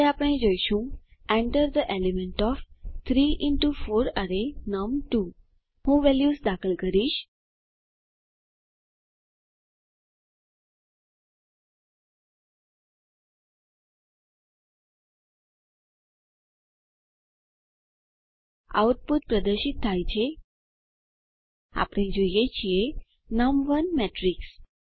હવે આપણે જોઈશું enter the element of 3 into 4 અરે નમ2 હું વેલ્યુઝ દાખલ કરીશ આઉટપુટ પ્રદર્શિત થાય છે આપણે જોઈ શકીએ છીએ નમ1 મેટ્રિક્સ